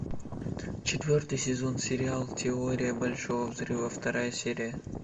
четвертый сезон сериал теория большого взрыва вторая серия